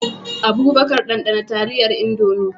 Abubakar, ɗanɗana taliyar Indomie.